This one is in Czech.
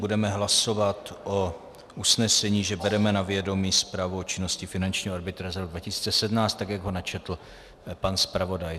Budeme hlasovat o usnesení, že bereme na vědomí Zprávu o činnosti finančního arbitra za rok 2017, tak jak ho načetl pan zpravodaj.